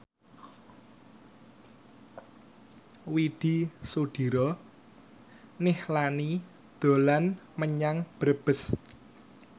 Widy Soediro Nichlany dolan menyang Brebes